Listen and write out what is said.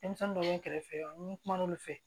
Denmisɛnnin dɔw bɛ kɛrɛfɛ n bɛ kuma n'olu fɛ